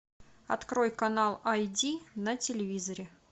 открой канал айди на телевизоре